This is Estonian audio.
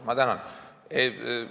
Ma tänan!